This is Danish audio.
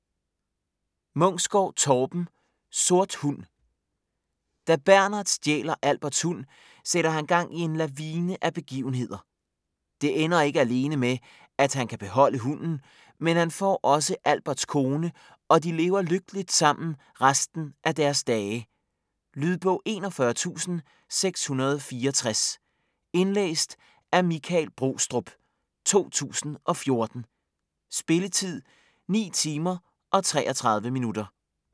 Munksgaard, Torben: Sort hund Da Bernhard stjæler Alberts hund, sætter han gang i en lavine af begivenheder. Det ender ikke alene med, at han kan beholde hunden, men han får også Alberts kone og de lever lykkeligt sammen resten af deres dage. Lydbog 41664 Indlæst af Michael Brostrup, 2014. Spilletid: 9 timer, 33 minutter.